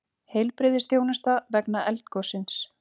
Heilbrigðisþjónusta vegna eldgossins